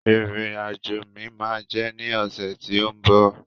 Ìrìn àjò mi ma jẹ ní ọsẹ ti o mbọ.